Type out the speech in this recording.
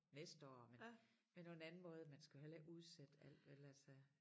Næste år men men på en anden måde man skal jo heller ikke udsætte alt vel altså